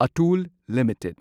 Atul limited